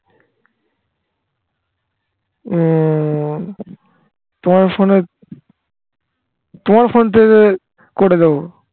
উম তোমার ফোনে তোমার ফোন থেকে করে দেব